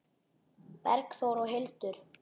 Bergþór og Hildur.